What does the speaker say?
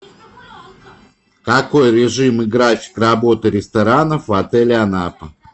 какой режим и график работы ресторанов в отеле анапа